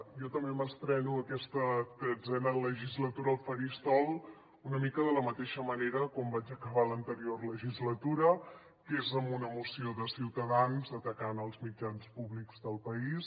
jo també m’estreno aquesta tretzena legislatura al faristol una mica de la mateixa manera com vaig acabar l’anterior legislatura que és amb una moció de ciutadans atacant els mitjans públics del país